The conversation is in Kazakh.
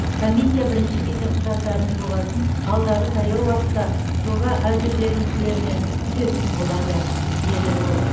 комиссия бірінші кезең құжаттарының жобасын алдағы таяу уақытта жоба әзірленушілерінен күтетін болады деді ол